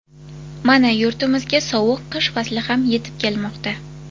Mana yurtimizga sovuq qish fasli ham yetib kelmoqda.